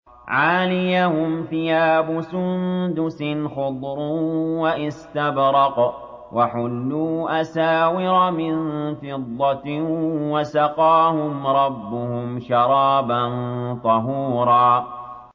عَالِيَهُمْ ثِيَابُ سُندُسٍ خُضْرٌ وَإِسْتَبْرَقٌ ۖ وَحُلُّوا أَسَاوِرَ مِن فِضَّةٍ وَسَقَاهُمْ رَبُّهُمْ شَرَابًا طَهُورًا